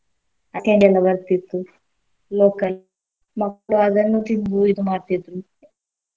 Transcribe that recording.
ಆ candy ಎಲ್ಲ ಬರ್ತಿತ್ತು local ಮಕ್ಳು ಅದನ್ನು ತಿಂದು ಇದು ಮಾಡ್ತಿದ್ರು.